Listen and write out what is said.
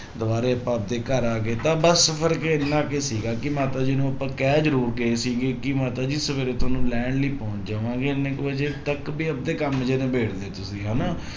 ਦੁਬਾਰੇ ਆਪਾਂ ਆਪਦੇ ਘਰ ਆ ਗਏ ਤਾਂ ਬਸ ਫ਼ਰਕ ਇੰਨਾ ਕੁ ਸੀਗਾ ਕਿ ਮਾਤਾ ਜੀ ਨੂੰ ਆਪਾਂ ਕਹਿ ਜ਼ਰੂਰ ਗਏ ਸੀਗੇ ਕਿ ਮਾਤਾ ਜੀ ਸਵੇਰੇ ਤੁਹਾਨੂੰ ਲੈਣ ਲਈ ਪਹੁੰਚ ਜਾਵਾਂਗੇ ਇੰਨੇ ਕੁ ਵਜੇ ਤੱਕ ਵੀ ਆਪਦੇ ਕੰਮ ਜਿਹੇ ਕਾਮ ਜਹੇ ਲਬੇੜ ਲਿਯੋ ਤੁਸੀਂ ਹਨਾ